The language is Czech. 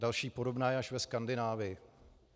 Další podobná je až ve Skandinávii.